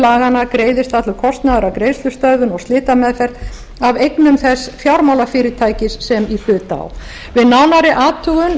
laganna greiðist allur kostnaður af greiðslustöðvun og slitameðferð af eignum þess fjármálafyrirtækis sem í hlut á við nánari athugun